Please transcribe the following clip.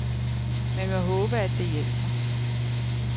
Man må håbe, at det hjælper.